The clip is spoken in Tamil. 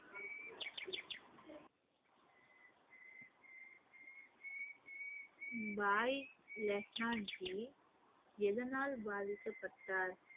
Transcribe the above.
பாய் லெஹ்னாஜி எதனால் பாதிக்கப்பட்டார்?